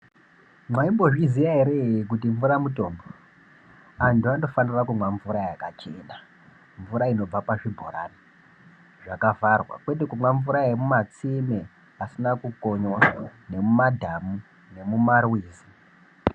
Maimbozviziya ere kuti mvura mutombo. Antu anofanire kumwa mvura yakachena , mvura inobva pazvibhorani zvakavharwa kwete kumwa mvura inobva mumatsime asina kukonyiwa nemumadhamu nemumarwizi.